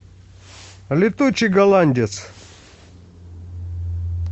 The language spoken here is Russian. летучий голландец